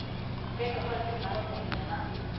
Begge hold vil lure på hinanden.